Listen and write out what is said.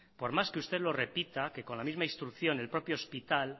por más que usted lo repita que con la misma instrucción el propio hospital